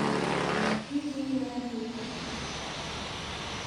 wikii nalioyu.